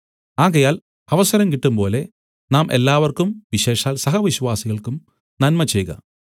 ആകയാൽ അവസരം കിട്ടുംപോലെ നാം എല്ലാവർക്കും വിശേഷാൽ സഹവിശ്വാസികൾക്കും നന്മചെയ്ക